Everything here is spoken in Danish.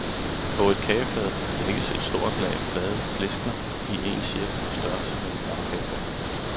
På et kagefad lægges et lag store, flade pleskener i en cirkel på størrelse med en lagkagebund.